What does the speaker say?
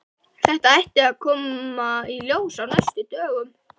Þetta ætti að koma í ljós á næstu dögum.